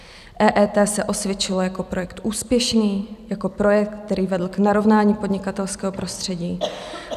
EET se osvědčilo jako projekt úspěšný, jako projekt, který vedl k narovnání podnikatelského prostředí.